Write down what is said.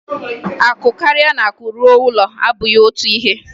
Akụ karịa na akụ ruo ụlọ abụghị otu ihe.